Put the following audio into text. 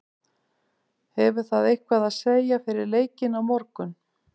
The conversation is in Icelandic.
Hefur það eitthvað að segja fyrir leikinn á morgun?